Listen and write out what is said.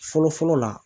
Fɔlɔ fɔlɔ la